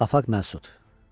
Afəq Məsud.